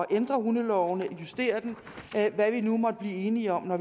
ændre hundeloven justere den hvad vi nu måtte blive enige om når